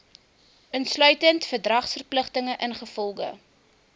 insluitend verdragsverpligtinge ingevolge